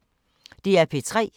DR P3